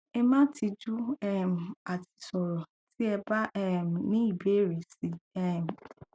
ẹ má tijú um àti sọrọ tí ẹ bá um ní ìbéèrè si um